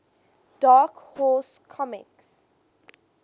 dark horse comics